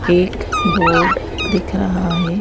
एक बोर्ड दिख रहा है।